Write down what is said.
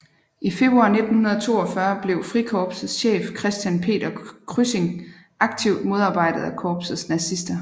I februar 1942 blev Frikorpsets chef Christian Peder Kryssing aktivt modarbejdet af korpsets nazister